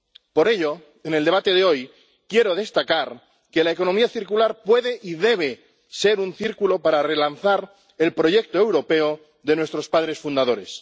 Por ello, en el debate de hoy, quiero destacar que la economía circular puede y debe ser un círculo para relanzar el proyecto europeo de nuestros padres fundadores.